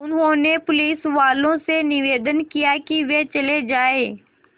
उन्होंने पुलिसवालों से निवेदन किया कि वे चले जाएँ